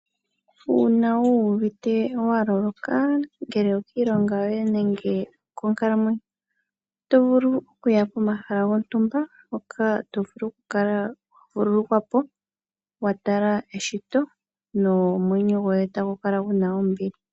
Uuna wu uvite waloloka ,ngele okiilonga yoye nenge okonkalamweyo, oto vulu okuya pomahala gontumba mpoka tovulu okukala wa vululukwa po nomwenyo woye etagu kala guna ombili.